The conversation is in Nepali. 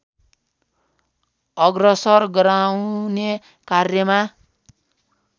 अग्रसर गराउने कार्यमा